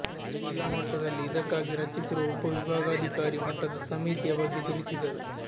ಜಿಲ್ಲಾ ಮಟ್ಟದಲ್ಲಿ ಇದಕ್ಕಾಗಿ ರಚಿಸಿರುವ ಉಪ ವಿಭಾಗಾಧಿಕಾರಿ ಮಟ್ಟದ ಸಮಿತಿಯ ಬಗ್ಗೆ ತಿಳಿಸಿದರು